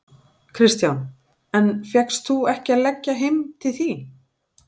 Kristján: En fékkst þú ekki að leggja heim til þín?